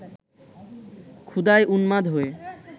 ক্ষুধায় উন্মাদ হয়ে